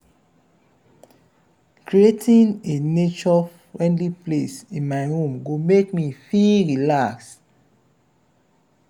creating a nature-friendly space in my home go make me feel relaxed.